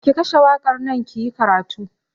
Ki kashe waƙar nan kiyi karatu!